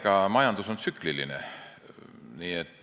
Jah, majandus on tsükliline.